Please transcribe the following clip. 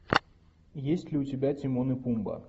есть ли у тебя тимон и пумба